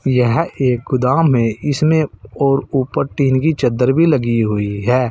यह एक गोदाम है इसमें और ऊपर टीन की चद्दर भी लगी हुई है।